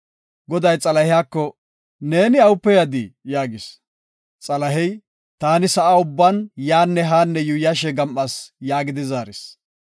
Goday Xalahiyako, “Neeni awupe yadii?” yaagis. Xalahey, “Taani sa7a ubban yaanne haanne yuuyashe gam7as” yaagidi zaaris.